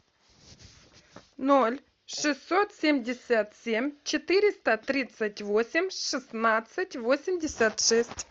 ноль шестьсот семьдесят семь четыреста тридцать восемь шестнадцать восемьдесят шесть